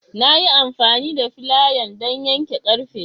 Na yi amfani da filayan don yanke ƙarfe.